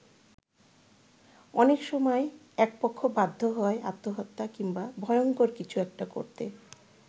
অনেক সময় একপক্ষ বাধ্য হয় আত্মহত্যা কিংবা ভয়ঙ্কর কিছু একটা করতে।